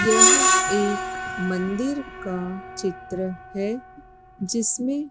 यह एक मंदिर का चित्र है जिसमें--